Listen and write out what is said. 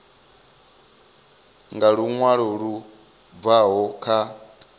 nga luṅwalo lu bvaho kha